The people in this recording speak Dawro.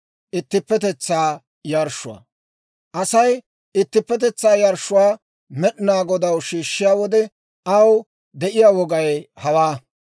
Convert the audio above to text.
« ‹Asay ittippetetsaa yarshshuwaa Med'inaa Godaw yarshshiyaa wode aw de'iyaa wogay hawaa: